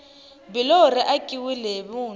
biloho ri akiwile hi vuntshwa